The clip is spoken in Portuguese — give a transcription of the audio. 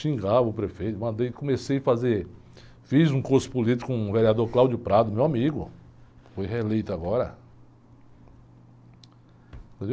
Xingava o prefeito, mandei, comecei a fazer, fiz um curso político com o vereador, meu amigo, foi reeleito agora.